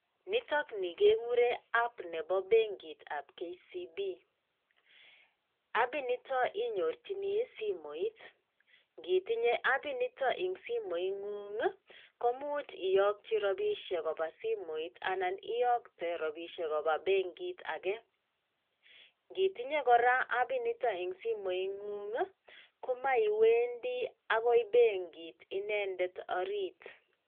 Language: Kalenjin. Nitakni kegurei app nebo bengit ab KCB. App inito inyorchini simoit ngitinye app initoeng simoing'ng komuch iyakyi robishek koba simoit anan iyakte robishek kopa bengit age. Ngitinye kora app inito eng simoit ng'ung' komaiwendi agoi bengit inedet orit.